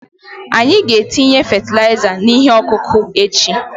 Anyị ga-etinye fatịlaịza n'ihe ọkụkụ echi.